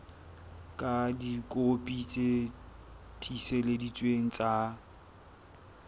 ka dikopi tse tiiseleditsweng tsa